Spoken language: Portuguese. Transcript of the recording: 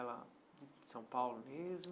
Ela é de São Paulo mesmo?